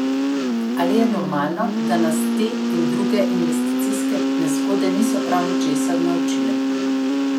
Ali je normalno, da nas te in druge investicijske nezgode niso prav ničesar naučile?